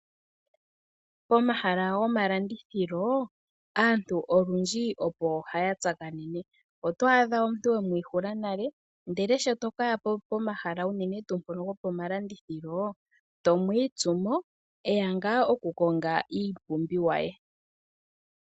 Pomahala gomalandithilo aantu olwindji opo haya tsakanene. Otwaadha omuntu wemwiihula nale ndele sho tokaya pomahala uunene tuu ngono gomalandithilo to mwiitsu mo, eya ngaa oku konga iipumbiwa yaye.